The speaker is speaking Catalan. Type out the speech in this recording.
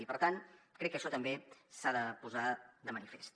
i per tant crec que això també s’ha de posar de manifest